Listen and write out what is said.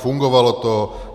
Fungovalo to.